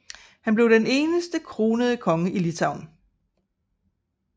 Han blev den eneste kronede konge Litauen